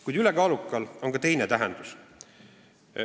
Kuid "ülekaalukal" on ka teine tähendus.